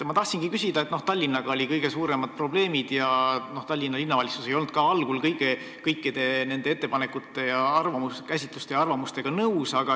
Ma tahan küsida selle kohta, et Tallinnaga on olnud kõige suuremad probleemid ja Tallinna Linnavalitsus ei olnud algul kõikide ettepanekute, käsitluste ja arvamustega nõus.